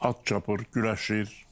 At çapır, güləşir.